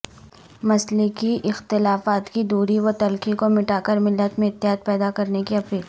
مسلکی اختلافات کی دوری وتلخی کو مٹا کرملت میں اتحاد پیدا کرنے کی اپیل